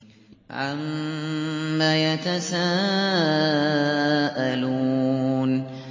عَمَّ يَتَسَاءَلُونَ